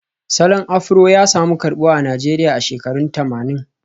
Salon Afro ya samu karbuwa a Najeriya a shekarun tamanin